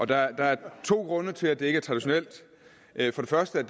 der er to grunde til at det ikke er traditionelt den første er